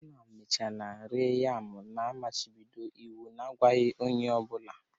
ha nna emechaala ree yam na mmachibido iwu na-agwaghị onye ọ bụla